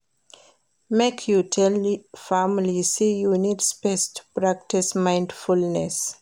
Make you tell your family say you need space to practice mindfulness.